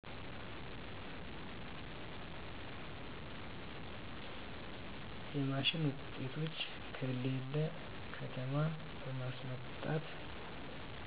የማሺን ውጤቶች ከሌለ ከተማ በማስመጣት